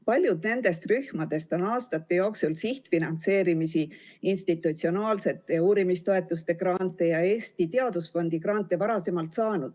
Paljud nendest rühmadest on aastate jooksul sihtfinantseerimisi, institutsionaalsete uurimistoetuste grante ja Eesti Teadusfondi grante varasemalt saanud.